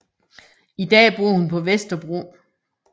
I dag bor hun på Vesterbro